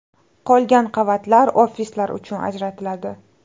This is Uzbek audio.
Qolgan qavatlar ofislar uchun ajratiladi.